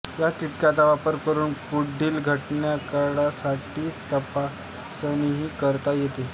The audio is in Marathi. या किटचा वापर करून पुढील घटकांसाठी तपासणी करता येते